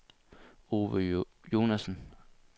Ove Jonassen